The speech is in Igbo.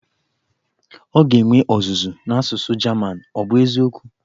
Ọ ga-enwe ọzụzụ n'asụsụ German, ọ bụ eziokwu?